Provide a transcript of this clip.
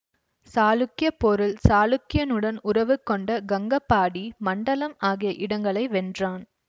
சாளுக்கிய போரில் சாளுக்கியனுடன் உறவுக் கொண்ட கங்கபாடி மண்டலம் ஆகிய இடங்களை வென்றான்